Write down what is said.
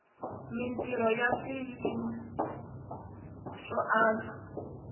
mintrho ya swiyima swo antswa